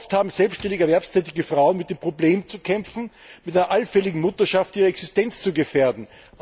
Oft haben selbständige erwerbstätige Frauen mit dem Problem zu kämpfen, mit der allfälligen Mutterschaft ihre Existenz zu gefährden.